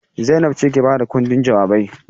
Zainab ce ke ba da ƙundin jawabai.